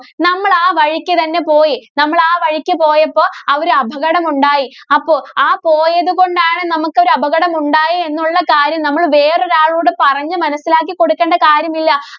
നമ്മള്‍ ആ വഴിക്ക് തന്നെ പോയി നമ്മള്‍ ആ വഴിക്ക് പോയപ്പോ അവര് അപകടം ഉണ്ടായി. അപ്പോ ആ പോയതുകൊണ്ടാണ് നമുക്ക് ഒരു അപകടം ഉണ്ടായേ എന്നുള്ള കാര്യം നമ്മള് വേറൊരളോട് പറഞ്ഞ് മനസ്സിലാക്കിക്കൊടുക്കേണ്ട കാര്യമില്ല.